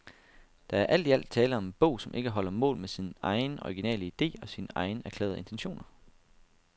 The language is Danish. Der er alt i alt tale om en bog, som ikke holder mål med sin egen, originale ide og sine egne erklærede intentioner.